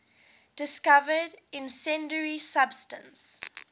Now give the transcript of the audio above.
discovered incendiary substance